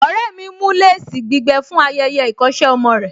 Ọ̀rẹ́ mi ń mú léèsì gbígbẹ fún ayẹyẹ ìkọ́ṣẹ́ ọmọ rẹ̀